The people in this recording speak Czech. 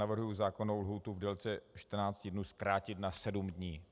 Navrhuji zákonnou lhůtu v délce 14 dnů zkrátit na 7 dní.